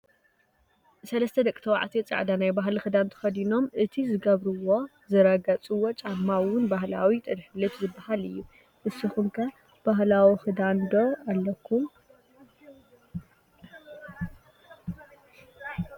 3 ደቂ ተባዕትዮ ፃዕዳ ናይ ባህሊ ክዳን ተኸዲኖም ፣ እቲ ዝገበርዎ/ ዝረገፅዎ ጫማ እውን ባህላዊ ጥልፍልፍ ዝባሃል እዩ፡፡ ንስኻትኩም ከ ባህላዊ ክዳን ዶ ኣለኩም?